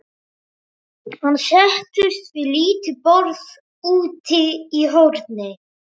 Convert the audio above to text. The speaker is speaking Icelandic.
Hann settist við lítið borð úti í horni.